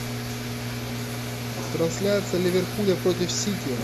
трансляция ливерпуля против сити